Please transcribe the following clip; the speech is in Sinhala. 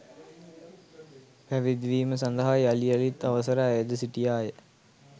පැවිදිවීම සඳහා යළි යළිත් අවසර අයැද සිටියාය